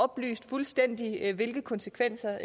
belyst fuldstændig hvilke konsekvenser